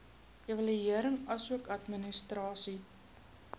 evaluering asook administrasie